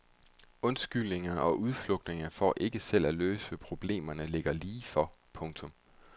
Undskyldningerne og udflugterne for ikke selv at løse problemet ligger lige for. punktum